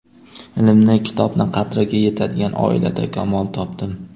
Ilmni, kitobni qadriga yetadigan oilada kamol topdim.